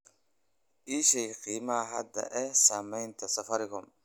ii sheeg qiimaha hadda ee saamiyada safaricom